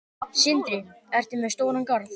Sindri: Ertu með stóran garð?